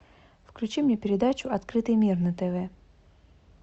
включи мне передачу открытый мир на тв